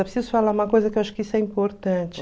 Eu preciso falar uma coisa que eu acho que isso é importante.